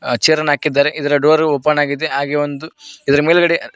ಆ ಚೇರ್ ಅನ್ನು ಹಾಕಿದ್ದಾರೆ ಇದರ ಡೋರ್ ಓಪನ್ ಆಗಿದೆ ಹಾಗೆ ಒಂದು ಇದರ ಮೇಲ್ಗಡೆ--